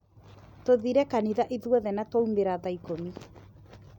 Tũthire kanitha ithuothe na twaumĩra thaa ikũmi.